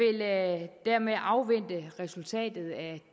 dermed afvente resultatet af